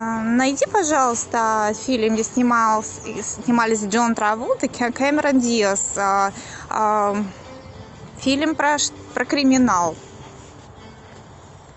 найди пожалуйста фильм где снимались джон траволта и кэмерон диаз фильм про криминал